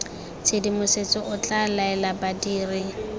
tshedimosetso o tla laela badiri